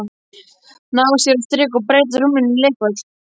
Ná sér á strik og breyta rúminu í leikvöll.